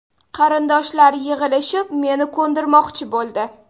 Qarindoshlar yig‘ilishib, meni ko‘ndirmoqchi bo‘ldi.